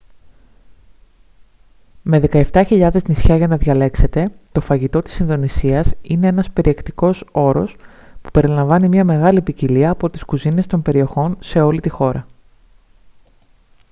με 17.000 νησιά για να διαλέξετε το φαγητό της ινδονησίας είναι ένας περιεκτικός όρος που περιλαμβάνει μια μεγάλη ποικιλία από τις κουζίνες των περιοχών σε όλη τη χώρα